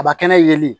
A bɛ kɛnɛ yeli